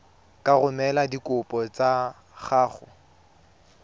ka romela dikopo tsa gago